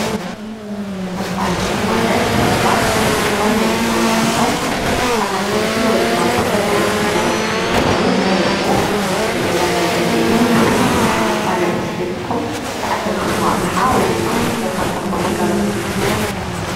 መፋለጢ ማለት ሰባት ስራሕቶም ወይድማ ምህርቶም ብዓደግቲ ወይ ድማ ብተገልገልቲ ተመረፅቲ ንክኮኑ ዝገብርዎ ናይ ምልላይ መንገዲ እዩ። ንስካትኩም ከ መፋለጢ ሲሕብኩም ዝዓደክምዎ ኣቅሓ ወይደማ ዝረከብክምዎ ግልጋሎት አለኩም ዶ?